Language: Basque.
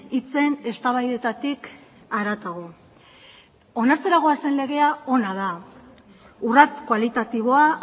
hitzen eztabaidetatik haratago onartzera goazen legea ona da urrats kualitatiboa